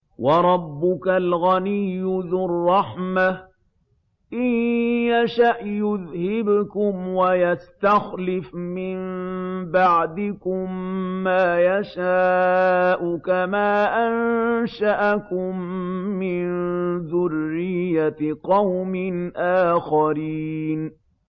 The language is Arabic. وَرَبُّكَ الْغَنِيُّ ذُو الرَّحْمَةِ ۚ إِن يَشَأْ يُذْهِبْكُمْ وَيَسْتَخْلِفْ مِن بَعْدِكُم مَّا يَشَاءُ كَمَا أَنشَأَكُم مِّن ذُرِّيَّةِ قَوْمٍ آخَرِينَ